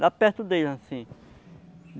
Lá perto deles, assim.